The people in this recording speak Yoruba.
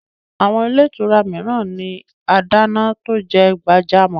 Àwọn ilé ìtura mìíran ní adáná tó jẹ gbajúmọ̀